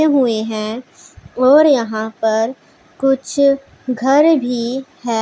हुए हैं और यहां पर कुछ घर भी हैं।